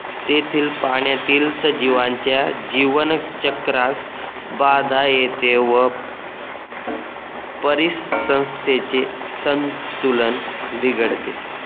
तेथील पाण्यातील सजीवांच्या जीवन चक्रास बाधा येते व परिसंस्थेचे संतुलन बिघडते